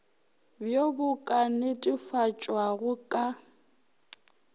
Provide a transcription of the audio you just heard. bjoo bo ka netefatpwago ka